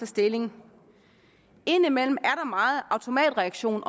stilling indimellem er der meget automatreaktion